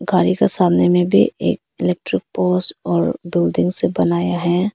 गाड़ी के सामने में भी एक इलेक्ट्रिक पोल्स और बिल्डिंग सब बनाया है।